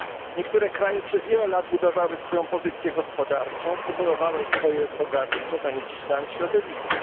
Niektóre kraje przez wiele lat budowały swoją pozycję gospodarczą, kumulowały bogactwo zanieczyszczając środowisko.